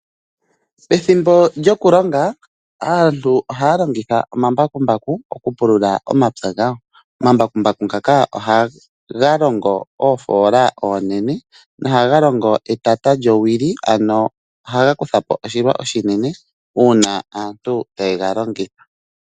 Ethimbo lyokulonga aantu ohaya longitha omambakumbaku okupulula omapya gawo. Omambakumbaku ngaka ohaga longo oofoola oonene taga longo etata lyowili. Ohaga kuthapo oshilwa oshinene uuna aantu tayega longitha.